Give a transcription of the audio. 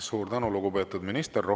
Suur tänu, lugupeetud minister!